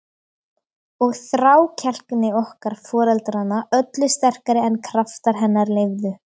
Og þrákelkni okkar foreldranna öllu sterkari en kraftar hennar leyfðu.